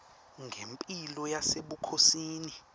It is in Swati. ngemphilo yasebukhosini